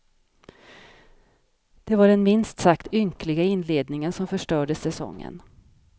Det var den minst sagt ynkliga inledningen som förstörde säsongen.